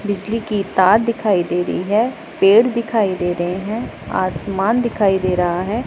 बिजली की तार दिखाई दे रही है पेड़ दिखाई दे रहे हैं आसमान दिखाई दे रहा है।